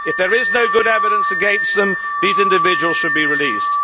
If there is no good evidence against them, these individuals should be released.